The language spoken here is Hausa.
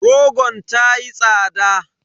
Rogon ta yi tsada.